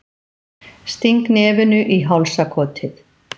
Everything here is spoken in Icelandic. Sting nefinu í hálsakotið.